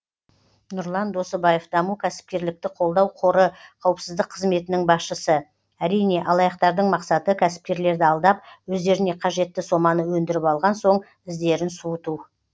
нұрлан досыбаев даму кәсіпкерлікті қолдау қоры қауіпсіздік қызметінің басшысы әрине алаяқтардың мақсаты кәсіпкерлерді алдап өздеріне қажетті соманы өндіріп алған соң іздерін суыту